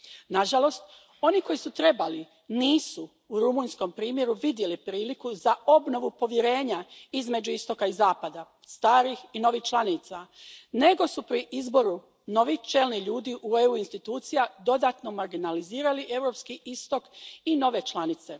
Nažalost, oni koji su trebali nisu u rumunjskom primjeru vidjeli priliku za obnovu povjerenja između istoka i zapada, starih i novih članica, nego su pri izboru novih čelnih ljudi EU institucija dodatno marginalizirali europski istok i nove članice.